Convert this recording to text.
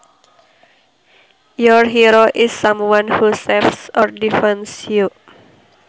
Your hero is someone who saves or defends you